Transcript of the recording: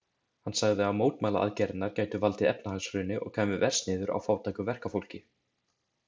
Hann sagði að mótmælaaðgerðirnar gætu valdið efnahagshruni og kæmu verst niður á fátæku verkafólki.